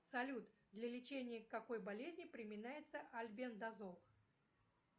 салют для лечения какой болезни применяется альбендазол